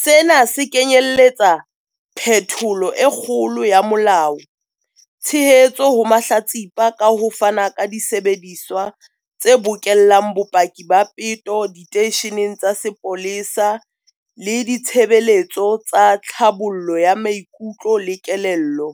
Sena se kenyeletsa phetholo e kgolo ya molao, tshehetso ho mahlatsipa ka ho fana ka disebediswa tse bokellang bopaki ba peto diteisheneng tsa sepolesa le ditshebeletso tsa tlhabollo ya maikutlo le kelello,